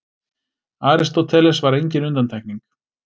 Aristóteles var engin undantekning.